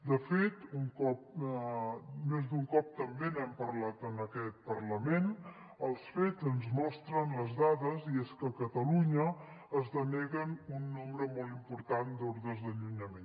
de fet més d’un cop també n’hem parlat en aquest parlament els fets ens mostren les dades i és que a catalunya es denega un nombre molt important d’ordres d’allunyament